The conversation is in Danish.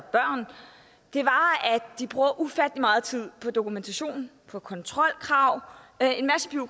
de bruger ufattelig meget tid på dokumentation på kontrolkrav